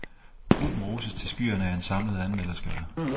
Gruppen roses til skyerne af en samlet anmelderskare.